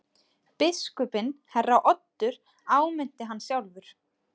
Biskupinn herra Oddur áminnti hann sjálfur.